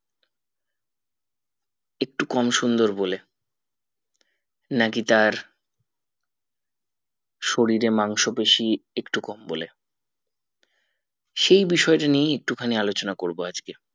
একটু কম সুন্দর বলে নাকি তার শরীরে মাংস বেশি একটু কম বলে সেই বিষয় তা নিয়ে একটু খানি আলোচনা করবো আজকে